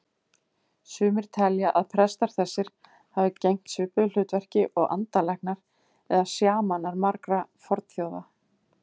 Sumir telja að prestar þessir hafi gegnt svipuðu hlutverki og andalæknar eða sjamanar margra fornþjóða.